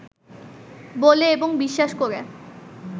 বলে এবং বিশ্বাস করে